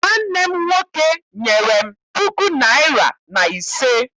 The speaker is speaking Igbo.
Nwanne m nwoke nyere m puku naịra na ise.